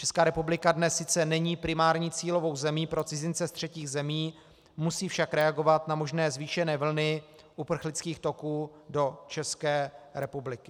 Česká republika dnes sice není primární cílovou zemí pro cizince z třetích zemí, musí však reagovat na možné zvýšené vlny uprchlických toků do České republiky.